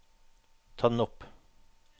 ta den opp